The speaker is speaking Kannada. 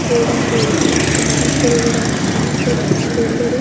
ಗೋಲ್ಡ್ ಅಂಗಡಿ ಇದೆ ಮತ್ತು ಮನುಷ್ಯರುಗಳು ಮನುಷ್ಯರು ಜನರು ಎಲ್ಲರು --